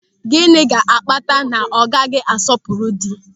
Gịnị ga-akpata na ọ gaghị asọpụrụ dị?